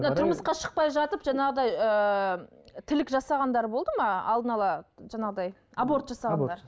мына тұрмысқа шықпай жатып жаңағыдай ыыы тілік жасағандар болды ма алдына ала жаңағыдай аборт жасағандар